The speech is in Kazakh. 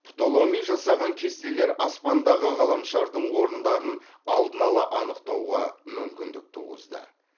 птоломей жасаған кестелер аспандағы ғаламшардың орындарын алдын ала анықтауға мүмкіндік туғызды